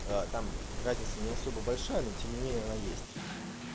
там разница не особо большая но тем не менее она есть